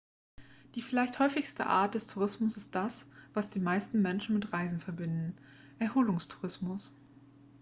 die vielleicht häufigste art des tourismus ist das was die meisten menschen mit reisen verbinden erholungstourismus